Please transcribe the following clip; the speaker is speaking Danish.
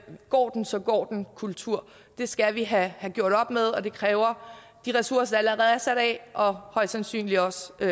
går den så går den kultur det skal vi have gjort op med og det kræver de ressourcer der allerede er sat af og højst sandsynligt også